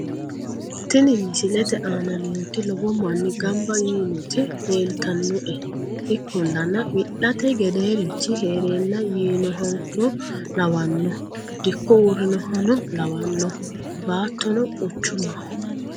tini misilete aana nooti lowo manni gamba yiinoti leeltannoe ikkollana wi'late gedeerichi heerenna yiinohano lawanno dikko uurrinohano lawanno baattono quchumaho